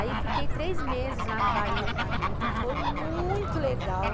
Aí fiquei três meses lá na Bahia com a Rita, foi muito legal.